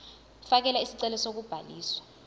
fakela isicelo sokubhaliswa